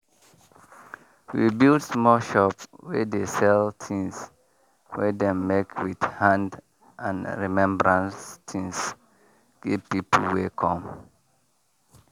we build small shop wey dey sell tins wey dem make with hand and remembrance tins give people wey come